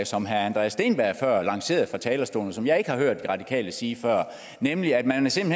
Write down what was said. som herre andreas steenberg før lancerede fra talerstolen og som jeg ikke har hørt de radikale sige før nemlig at